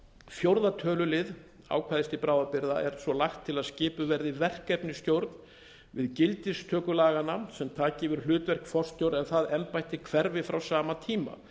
fjórða tölulið ákvæðis til bráðabirgða er svo lagt til er lagt til að skipuð verði verkefnisstjórn við gildistöku laganna sem taki yfir hlutverk forstjóra en það embætti hverfi frá sama tíma